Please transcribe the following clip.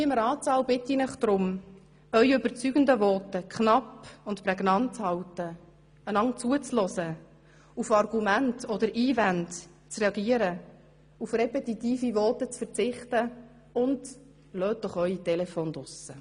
Hier im Ratssaal bitte ich Sie deshalb, Ihre überzeugenden Voten knapp und prägnant zu halten, einander zuzuhören, auf Argumente oder Einwände zu reagieren, auf repetitive Voten zu verzichten und – lassen Sie doch ihre Telefone draussen!